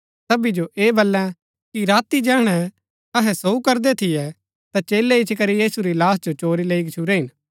सबी जो ऐह बलै कि राती जैहणै अहै सोऊ करदै थियै ता चेलै इच्ची करी यीशु री लाहश जो चोरी लैई गच्छुरै हिन